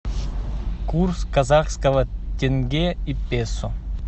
курс казахского тенге и песо